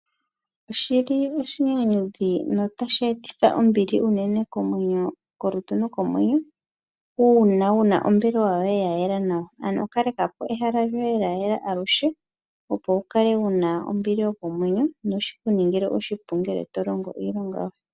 Oshinyanyudhi notashi etitha ombili kolutu nokomwenyo uuna wu na ombelewa yoye ya yela nawa. Kaleka ehala lyoye lya yela aluhe, opo wu kale wu na ombili yokomwenyo noshi ku ningile oshipu ngele to longo iilonga yoye.